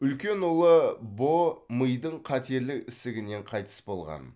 үлкен ұлы бо мидың қатерлі ісігінен қайтыс болған